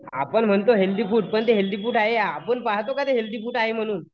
आपण म्हणतो healthy food पण ते हेल्थी फूड आहे आपण पाहतो का ते हेल्थी फूड आहे म्हणून?